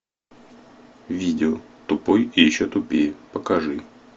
видео тупой и еще тупее покажи